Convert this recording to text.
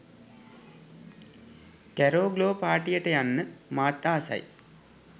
කැරෝ glow පාටියට යන්න මාත් ආසයි